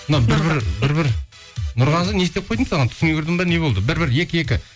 мынау бір бір бір бір нұрғазы не істеп қойдым саған түсіңе кірдім бе не болды бір бір екі екі